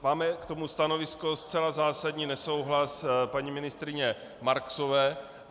Máme k tomu stanovisko, zcela zásadní nesouhlas paní ministryně Marksové.